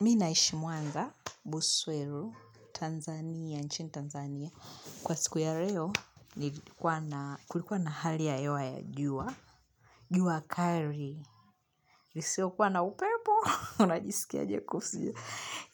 Mimi naishi mwanza, Buswero, Tanzania, nchini Tanzania. Kwa siku ya leo, kulikuwa na hali ya hewa ya jua. Jua kali. Isiyo kuwa na upepo. Unajisikiaje kuhusu.